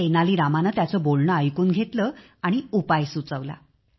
तेनाली रामाने त्याचे बोलणे ऐकून घेतले आणि उपाय सुचवला